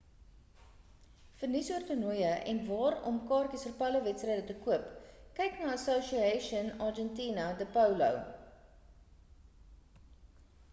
vir nuus oor toernooie en waar om kaartjies vir polowedstryde te koop kyk na die asociacion argentina de polo